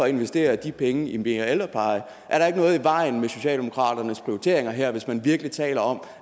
investere de penge i mere ældrepleje er der ikke noget i vejen med socialdemokratiets prioriteringer her hvis man virkelig taler om